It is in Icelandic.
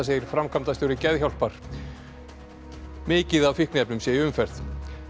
segir framkvæmdastjóri Geðhjálpar mikið af fíkniefnum séu í umferð